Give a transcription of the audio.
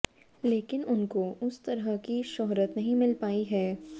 लेकिन उनको उस तरह की शोहरत नहीं मिल पाई है